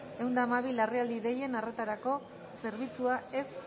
ehun eta hamabi larrialdi deien arretarako zerbitzua ez